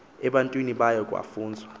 ebantwini bayo kwafunzwa